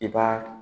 I b'a